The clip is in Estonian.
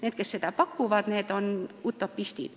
Need, kes väidavad selle võimaliku olevat, on utopistid.